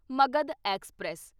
Magadh express